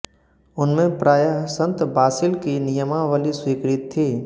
उनमें प्राय संत बासिल की नियमावली स्वीकृत थी